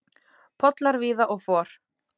Pollar víða og for.